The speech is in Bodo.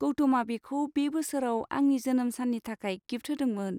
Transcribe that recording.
गौतमआ बेखौ बे बोसोराव आंनि जोनोम सान्नि थाखाय गिफ्ट होदोंमोन।